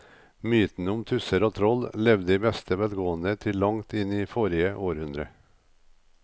Mytene om tusser og troll levde i beste velgående til langt inn i forrige århundre.